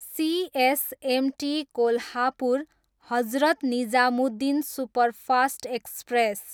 CSMT Kolhapur, Hazrat Nizamuddin superfast express